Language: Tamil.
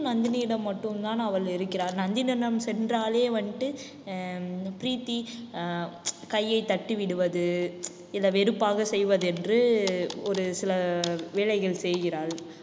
நந்தினியிடம் மட்டும்தான் அவள் இருக்கிறாள். நந்தினியிடம் சென்றாலே வந்துட்டு ஹம் பிரீத்தி ஆஹ் கையை தட்டி விடுவது இல்ல வெறுப்பாக செய்வது என்று ஒரு சில வேலைகள் செய்கிறாள்.